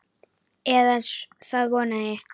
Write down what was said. Eða það vona ég,